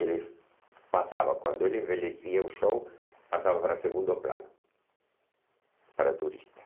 Ele passava, quando ele envelhecia, o show passava para segundo plano, para turista.